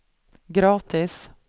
gratis